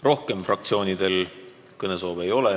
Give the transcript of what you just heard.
Rohkem fraktsioonide esindajatel kõnesoove ei ole.